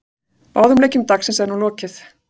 Báðum leikjum dagsins er nú lokið.